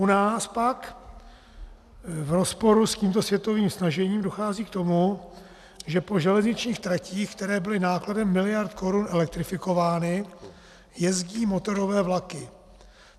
U nás pak v rozporu s tímto světovým snažením dochází k tomu, že po železničních tratích, které byly nákladem miliard korun elektrifikovány, jezdí motorové vlaky.